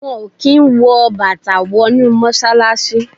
Wọ́n kí n wọ Bàtà wọ inú Mọ́ṣálásí.